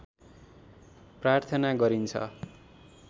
प्रार्थना गरिन्छ